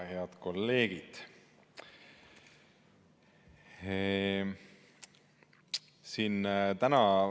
Head kolleegid!